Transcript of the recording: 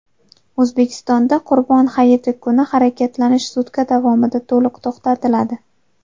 O‘zbekistonda Qurbon hayiti kuni harakatlanish sutka davomida to‘liq to‘xtatiladi.